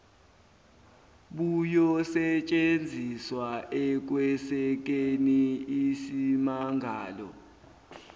buyosetshenziswa ekwesekeni isimmangalo